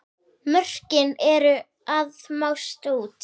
Mörkin eru að mást út.